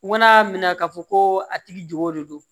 U mana minɛ ka fɔ ko a tigi jogo de don